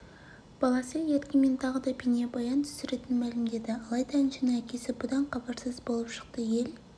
баласы еркемен тағы да бейнебаян түсіретінін мәлімдеді алайда әншінің әкесі бұдан хабарсыз болып шықты ел